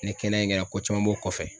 Ni kɛnɛya in kɛra ko caman b'o kɔfɛ.